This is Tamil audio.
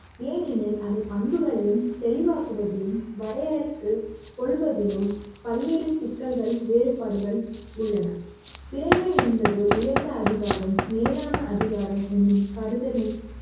ஏனெனில் அதை பண்புகளையும் தெளிவாக்குவதிலும் வரையற்று கொள்வதிலும் பல்வேறு சிக்கல்கள் வேறுபாடுகள் உள்ளன இறைமை என்பது உயர்ந்த அதிகாரம் மேலான அதிகாரம் என்னும் கருத்தினைக்